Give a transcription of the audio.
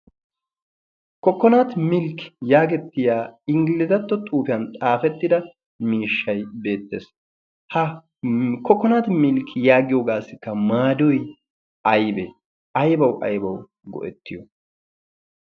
'Kokonat milk' yaagetiya inglizatto xuufiyaa xaafetida miishshay beettees. ha 'kokonati milk' yaagiyoogassikka maadoy aybbe? aybbaw aybbaw go'etiyo?